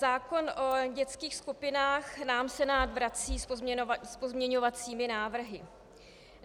Zákon o dětských skupinách nám Senát vrací s pozměňovacími návrhy.